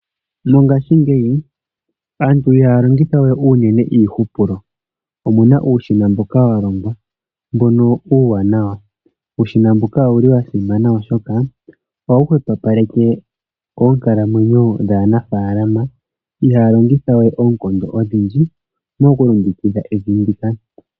Mongashingeyi aantu ihaya longithawe unene iihupulo. Opuna uushina mboka wa longwa uuwanawa , wo owuli wa simana shaashi ohawu hwepopaleke oonkalamwenyo dhaanafaalama oshoka ihaya longithawe oonkondo odhindji mokulongekidha evi ndika.